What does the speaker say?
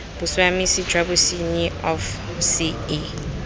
bosiamisi jwa bosenyi of ce